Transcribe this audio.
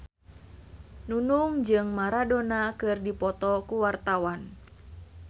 Nunung jeung Maradona keur dipoto ku wartawan